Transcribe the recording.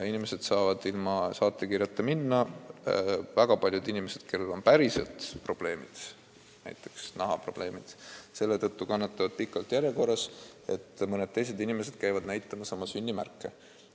Inimesed saavad nende arstide juurde ilma saatekirjata minna ja väga paljud, kellel on päriselt probleemid, näiteks nahaprobleemid, ootavad selle tõttu pikalt järjekorras, et mõned teised käivad näitamas oma sünnimärke.